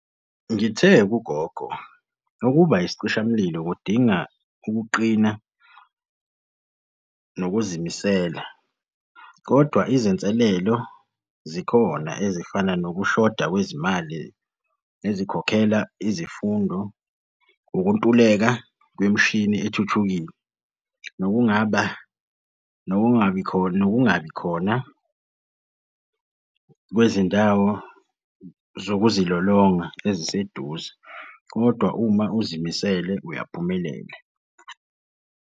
Ngithe kugogo, ukuba isicishamlilo kudinga ukuqina nokuzimisela, kodwa izinselelo zikhona ezifana nokushoda kwezimali ezikhokhela izifundo, ukuntuleka kwemishini ethuthukile, nolungaba nokungabi khona nokungabi khona kwezindawo zokuzilolonga eziseduze, kodwa uma uzimisele uyaphumelela.